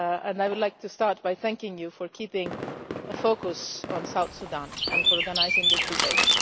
I would like to start by thanking Parliament for keeping a focus on South Sudan and for organising this debate.